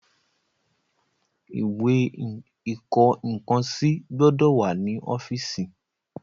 Ìwé ìkọ nǹkan sí gbọ́dọ̀ wà ní ọ́fíìsì.